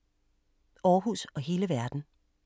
Aarhus og hele verden